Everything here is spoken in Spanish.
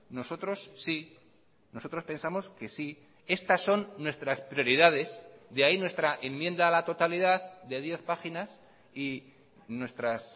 nosotros si nosotros pensamos que sí estas son nuestras prioridades de ahí nuestra enmienda a la totalidad de diez páginas y nuestras